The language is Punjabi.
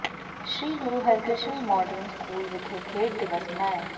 ਸ੍ਰੀ ਗੁਰੂ ਹਰਿਕਿ੍ਸ਼ਨ ਮਾਡਰਨ ਸਕੂਲ ਵਿਖੇ ਖੇਡ ਦਿਵਸ ਮਨਾਇਆ